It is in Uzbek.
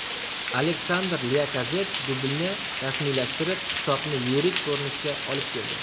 Aleksander Lyakazett dublni rasmiylashtirib, hisobni yirik ko‘rinishga olib keldi.